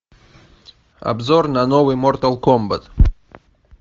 обзор на новый мортал комбат